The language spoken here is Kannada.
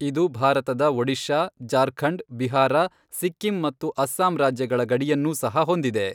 ಇದು ಭಾರತದ ಒಡಿಶಾ, ಜಾರ್ಖಂಡ್, ಬಿಹಾರ, ಸಿಕ್ಕಿಂ ಮತ್ತು ಅಸ್ಸಾಂ ರಾಜ್ಯಗಳ ಗಡಿಯನ್ನೂ ಸಹ ಹೊಂದಿದೆ.